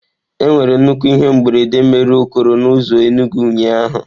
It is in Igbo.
Enwere nnukwu ihe mberede mere okoro na ụzọ Enugwu ụnyahụ.